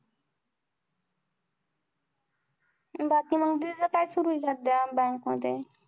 बाकी मंग दीदी चं काय सुरुये सध्या bank मध्ये?